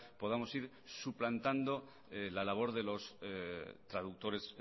podamos ir suplantando la labor de los traductores